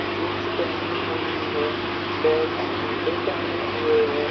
Jeans पहनी हुई है। पैर में जूते पहने हुए है।